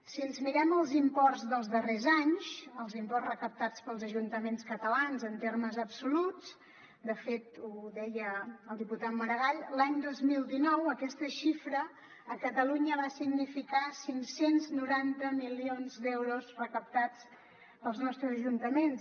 si ens mirem els imports dels darrers anys els imports recaptats pels ajuntaments catalans en termes absoluts de fet ho deia el diputat maragall l’any dos mil dinou aquesta xifra a catalunya va significar cinc cents i noranta milions d’euros recaptats pels nostres ajuntaments